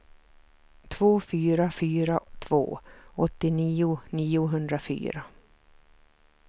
två fyra fyra två åttionio niohundrafyra